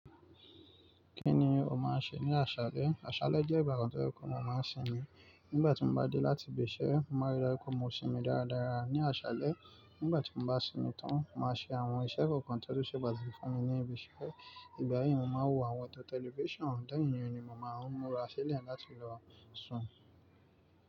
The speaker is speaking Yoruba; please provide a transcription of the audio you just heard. Kí ni o máa ń ṣe ní àṣálẹ́? Àṣálẹ́ jẹ́ ìgbàkan tó ye pe mo máa ń sinmi. Nígbà tí mo bá dé láti ibi iṣẹ́, màá rí dájú pé mo sinmi dáradára ní àṣálẹ́. Nígbà tí mo bá sinmi tán, màá ṣe àwọn iṣẹ́ kọ̀ọ̀kan tí ó ṣe pàtàkì fún mi ní ibi iṣẹ́. Ìgbà yìí mo máa wo àwọn eto tẹlifíṣàn, leyin iyen ni mo máa ń múra sílẹ̀ láti lọ sùn.